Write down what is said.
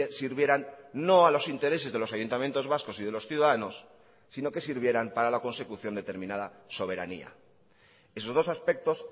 sirvieran no a los intereses de los ayuntamientos vascos y de los ciudadanos sino que sirvieran para la consecución determinada soberanía esos dos aspectos